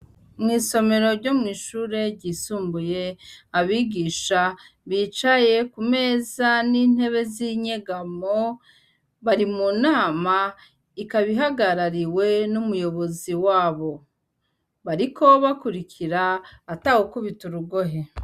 Mw'isomero ryo mw'ishure ryisumbuye abigisha bicaye ku meza n'intebe z'inyegamo bari mu nama ikaba ihagarariwe n'umuyobozi wabo. Bariko bakurikira ata gukubita urugohe.